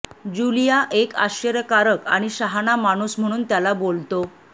Julia एक आश्चर्यकारक आणि शहाणा माणूस म्हणून त्याला बोलतो